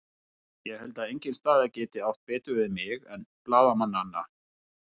Ég held að engin staða gæti átt betur við mig en blaðamannanna.